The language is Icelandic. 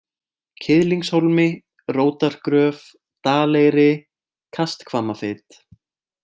Kiðlingshólmi, Rótargröf, Daleyri, Kasthvammafit